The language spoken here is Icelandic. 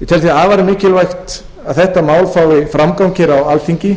ég tel því afar mikilvægt að þetta mál fái framgang hér á alþingi